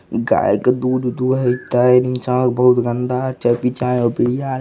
गाय के दूध दुहत हई नीचा बहुत गंदा --